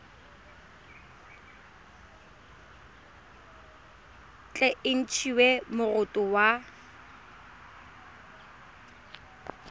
tle e ntshiwe moroto wa